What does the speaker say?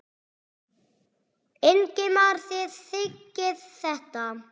Ingimar: Þið þiggið þetta?